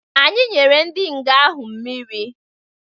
Anyi nyere ndi nga ahụ mmịrị